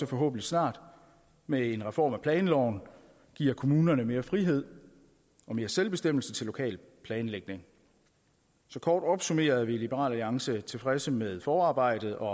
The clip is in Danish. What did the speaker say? forhåbentlig snart med en reform af planloven giver kommunerne mere frihed og mere selvbestemmelse til lokalplanlægning så kort opsummeret vil i liberal alliance er tilfredse med forarbejdet og